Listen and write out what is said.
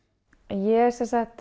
ég